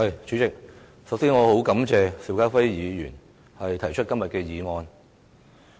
主席，首先感謝邵家輝議員提出這項議案。